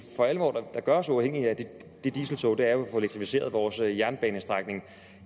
for alvor gør os uafhængige af det dieseltog er jo at få elektrificeret vores jernbanestrækning